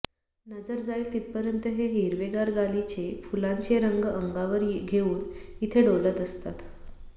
नजर जाईल तिथपर्यंत हे हिरवेगार गालिचे फुलांचे रंग अंगावर घेऊन इथे डोलत असतात